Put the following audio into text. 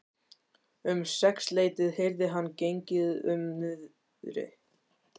Um sexleytið heyrði hann gengið um niðri.